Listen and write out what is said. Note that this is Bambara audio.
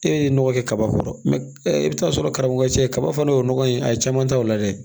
E ye nɔgɔ kɛ kaba kɔrɔ i bi t'a sɔrɔ karamɔgɔ cɛ kaba fana o nɔgɔ in a ye caman ta o la dɛ